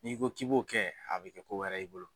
N'i ko k'i b'o kɛ a bɛ kɛ ko wɛrɛ y'i bolo.